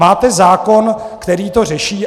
Máte zákon, který to řeší?